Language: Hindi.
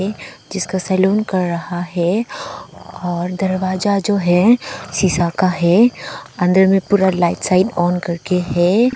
ये जिसका सलून कर रहा है और दरवाजा जो है शीशा का है अंदर में पूरा लाइट साइट ऑन करके है।